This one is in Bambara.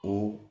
Ko